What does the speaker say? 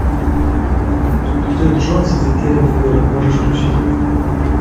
тэд джонс и затерянный город можешь включить